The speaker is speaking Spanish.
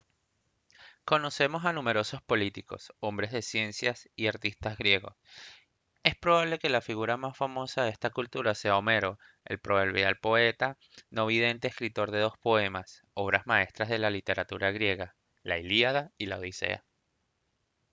conocemos a numerosos políticos hombres de ciencia y artistas griegos es probable que la figura más famosa de esta cultura sea homero el proverbial poeta no vidente escritor de dos poemas obras maestras de la literatura griega la ilíada y la odisea